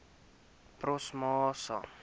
promosa